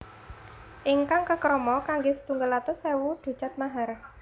Ingkang kekrama kanggé setunggal atus ewu ducat mahar